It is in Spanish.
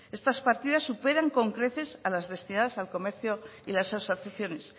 estas partidas superan con crecer a las destinadas al comercio y las asociaciones